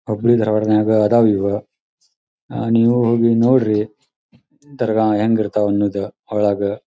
ಹುಬ್ಬಳಿ-ಧಾರವಾಡ ನ್ಯಾಗ ಅದಾವ ಇವ ಅಹ್ ನೀವು ಹೋಗಿ ನೋಡ್ರಿ ದರ್ಗಾ ಹೆಂಗಿರ್ತಾವ ಅನ್ನೂದ ಒಳಾಗ--